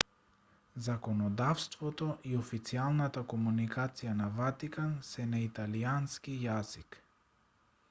законодавството и официјалната комуникација на ватикан се на италијански јазик